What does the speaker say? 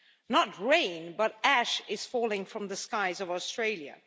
Not rain, but ash is falling from the skies of Australia.